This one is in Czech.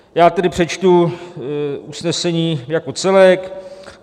Já tedy přečtu usnesení jako celek.